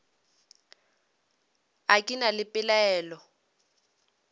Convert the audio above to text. a ke na le dipelaelo